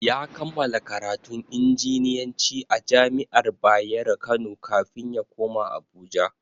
Ya kammala karatun injiniyanci a jami'ar Bayero kano kafin ya koma Abuja.